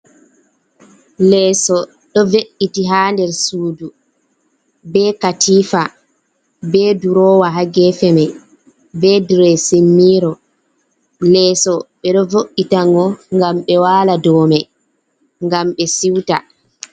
Leeso ɗo ve’’iti ha nder sudu, be katifa be durowa ha gefe mai be diresin miro, leeso ɓe ɗo vo’’itago ngam ɓe wala do mai ngam ɓe siuta.